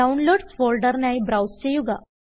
Downloadsഫോൾഡറിനായി browse ചെയ്യുക